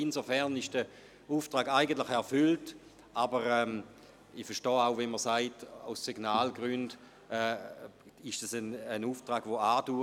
Insofern ist der Auftrag eigentlich erfüllt, aber ich verstehe auch, wenn man ein Signal aussenden und sagen will, dass dieser Auftrag andauert.